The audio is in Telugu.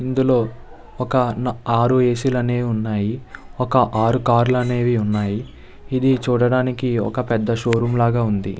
ఇందులో ఒక ఆరు ఏసి లు అనేవి ఉనాయి. ఒక ఆరు కార్లు అనేవి ఉన్నై. ఇది చూడడానికి ఒక పేద షో రూం లాగా వుంది.